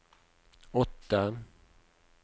åtte